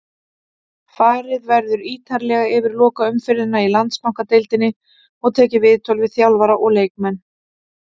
Farið verður ítarlega yfir lokaumferðina í Landsbankadeildinni og tekið viðtöl við þjálfara og leikmenn.